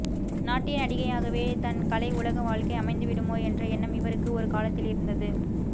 நாட்டிய நடிகையாகவே தன் கலை உலக வாழ்க்கை அமைந்துவிடுமோ என்ற எண்ணம் இவருக்கு ஒரு காலத்தில் இருந்தது